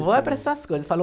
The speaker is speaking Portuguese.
Vó é para essas coisas, falou